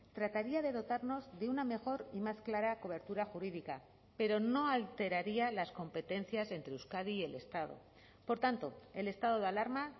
trataría de dotarnos de una mejor y más clara cobertura jurídica pero no alteraría las competencias entre euskadi y el estado por tanto el estado de alarma